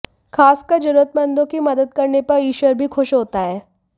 खासकर जरूरतमंदों की मदद करने पर ईश्वर भी खुश होता है